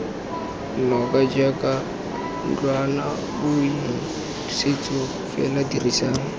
noka jaaka ntlwanaboithusetso fela dirisa